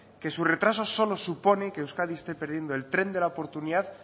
que su retraso solo suponen que euskadi este perdiendo el tren de la oportunidad